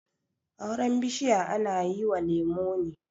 Auren bishiya ana yi wa lemo ne